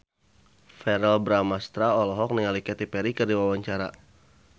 Verrell Bramastra olohok ningali Katy Perry keur diwawancara